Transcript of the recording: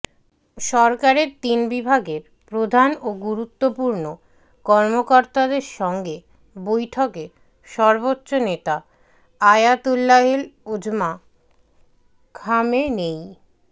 সরকারের তিন বিভাগের প্রধান ও গুরুত্বপূর্ণ কর্মকর্তাদের সঙ্গে বৈঠকে সর্বোচ্চ নেতা আয়াতুল্লাহিল উজমা খামেনেয়ী